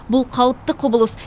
бұл қалыпты құбылыс